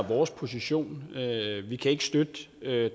vores position vi kan ikke støtte